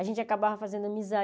A gente acabava fazendo amizade.